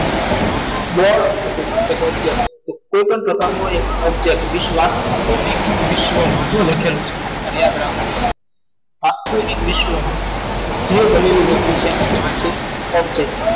object total object વિશ્વાસ વિશ્વમાં શું લખેલું છે મર્યાદા રાખો એવી સ્વરમાં જે ગેલેરી વસ્તુ છે એને કહેવાય છે object